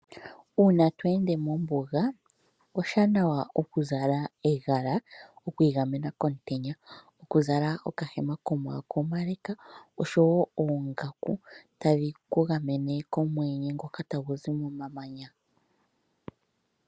Uuna tweende mombuga, oshiwanawa okuzala egala, okwiigamena komutenya. Okuzala okahema komaako omale, osho wo oongaku tadhi ku gamene komweenye ngoka tagu zi momamanya.